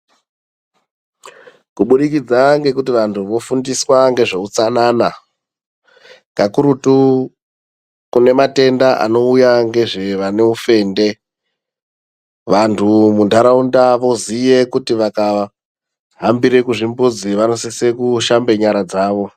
Kubudikidza ngekuti vantu vofundiswa ngezveutsanana, kakurutu kune matenda anouya ngezvevane ufende, vantu mundaraunda voziya kuti vakahambire kuzvimbuzi ,vanosise kushamba nyara dzavo.